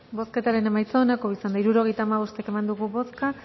bozketaren emaitza onako izan da hirurogeita hamabost eman dugu bozka